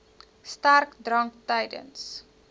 sterk drank tydens